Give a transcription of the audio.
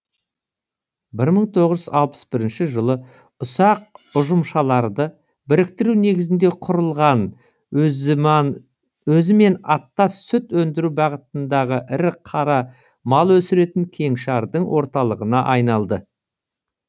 бір мың тоғыз жүз алпыс бірінші жылы ұсақ ұжымшарларды біріктіру негізінде құрылған өзімен аттас сүт өндіру бағытындағы ірі қара мал өсіретін кеңшардың орталығына айналды